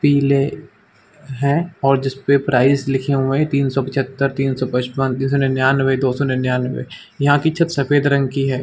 पीले है और जिसपे प्राइस लिखे हुए हैं तीन सौ पिचहत्तर तीन सौ पचपन तीन सौ निन्यानबे दो सौ निन्यानबे । यहां की छत सफेद रंग की है।